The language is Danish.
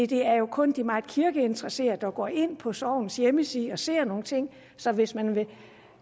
det er jo kun de meget kirkeinteresserede der går ind på sognets hjemmeside og ser efter nogle ting så hvis man